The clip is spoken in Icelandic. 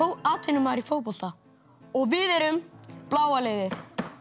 atvinnumaður í fótbolta við erum bláa liðið